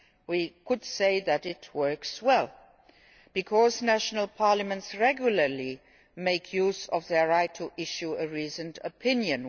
We could say that it works well because national parliaments regularly make use of their right to issue a reasoned opinion.